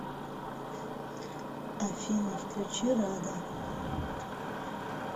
афина включи рада